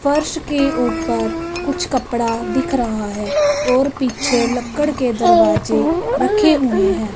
फर्श के ऊपर कुछ कपड़ा दिख रहा है और पीछे लक्कड़ के दरवाजे रखे हुए हैं।